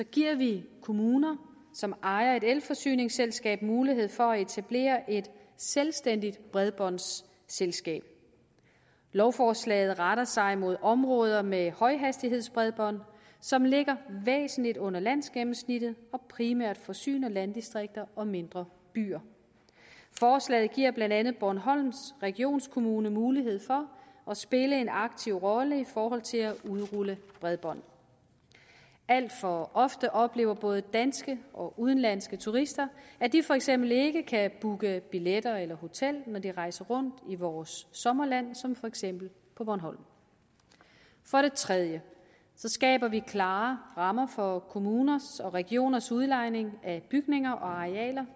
giver vi kommuner som ejer et elforsyningsselskab mulighed for at etablere et selvstændigt bredbåndsselskab lovforslaget retter sig mod områder med højhastighedsbredbånd som ligger væsentligt under landsgennemsnittet og primært forsyner landdistrikter og mindre byer forslaget giver blandt andet bornholms regionskommune mulighed for at spille en aktiv rolle i forhold til at udrulle bredbånd alt for ofte oplever både danske og udenlandske turister at de for eksempel ikke kan booke billetter eller hotel når de rejser rundt i vores sommerland som for eksempel på bornholm for det tredje skaber vi klare rammer for kommuner og regioners udlejning af bygninger og arealer